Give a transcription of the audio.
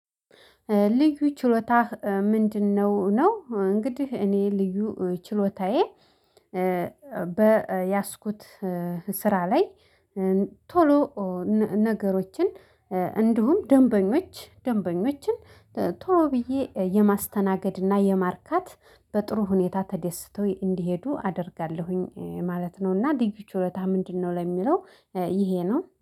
ልዩ ችሎታህ ምንድነው? ነው እንግዲህ እኔ ልዩ ችሎታዬ በ በያዝኩት ስራ ላይ ቶሎ ነገሮችን እንዲሁም ደንበኞች ደንበኞችን ቶሎ ብዬ የማስተናገድና የማርካት በጥሩ ሁኔታ ተደስቶ እንዲሄዱ አደርጋለሁኝ ማለት ነውና። ልዩ ችሎታ ምንድነው? ለሚለው ይሄ ነው